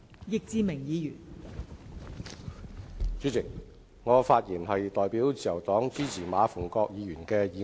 代理主席，我代表自由黨支持馬逢國議員的議案。